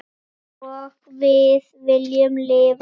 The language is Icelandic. Einsog við viljum lifa því.